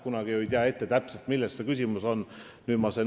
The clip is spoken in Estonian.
Kunagi ju ei tea täpselt ette, mille kohta küsimus on.